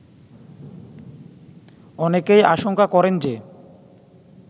অনেকেই আশংকা করেন যে